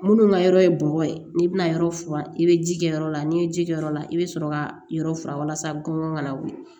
Minnu ka yɔrɔ ye bɔgɔ ye n'i bɛna yɔrɔ furan i bɛ ji kɛ yɔrɔ la n'i ye ji kɛ yɔrɔ la i bɛ sɔrɔ ka yɔrɔ furan walasa gɔmɔn ka na wuli